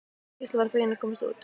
Gísli varð feginn að komast út.